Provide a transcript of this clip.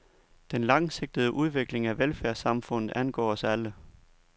Den langsigtede udvikling af velfærdssamfundet angår os alle.